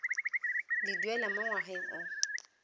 le duela mo ngwageng o